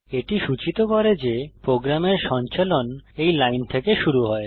এটি সূচিত করে যে প্রোগ্রামের সঞ্চালন এই লাইন থেকে শুরু হয়